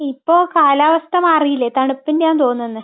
ഇപ്പൊ കാലാവസ്ഥ മാറിയില്ലേ. തണുപ്പിന്റെയാണെന്ന തോന്നുന്നെ.